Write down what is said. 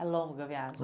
A longa viagem.